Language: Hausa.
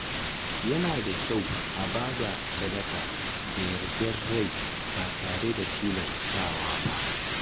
Yana da kyau a ba da sadaka da yardar rai ba tare da tilastawa ba.